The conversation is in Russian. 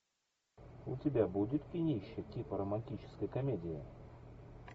у тебя будет кинище типа романтическая комедия